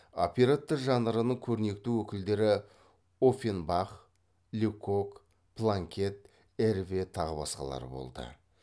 оперетта жанрының көрнекті өкілдері оффенбах лекок планкет эрве тағы басқалары болды